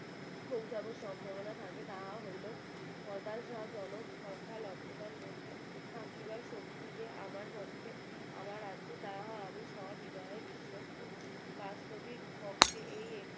পৌঁছানোর সম্ভাবনা থাকে তা হইলে জন সংখ্যা লাভটার মধ্যে থাকিবার শক্তি তে আমার পক্ষে আমার আজ্ঞে আমি স্ব বিনয় প্রস্তুত করি বাস্তবিক পক্ষে এই একটি